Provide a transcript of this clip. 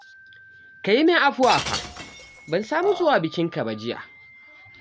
Ka yi min afuwa fa, ban samu zuwa bikinka ba jiya